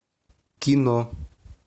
кино